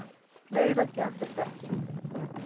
Fleira gerðist ekki.